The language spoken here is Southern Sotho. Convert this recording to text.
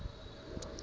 ha a ne a ya